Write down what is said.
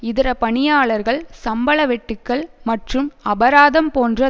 இதர பணியாளர்கள் சம்பள வெட்டுக்கள் மற்றும் அபராதம் போன்ற